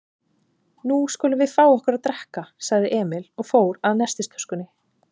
Nú skulum við fá okkur að drekka, sagði Emil og fór að nestistöskunni.